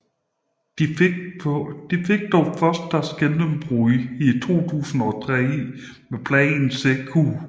De fik dog først deres gennembrud i 2003 med pladen Zekkuu